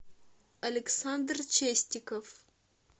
александр честиков